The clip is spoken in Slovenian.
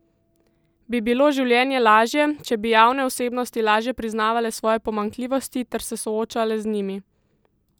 Bi bilo življenje lažje, če bi javne osebnosti lažje priznavale svoje pomanjkljivosti ter se soočale z njimi?